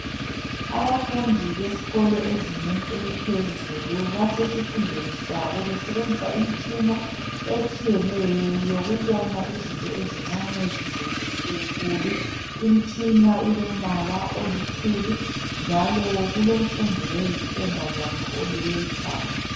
Abafundi besikolo ezingeni eliphezulu basesifundweni sabo besebenzisa imitshina etshiyeneyo yokubona izinto ezincane zizenze zibenkulu. Imitshina ilombala oluthuli njalo kulomfundi oyintombazana oluke ikhanda.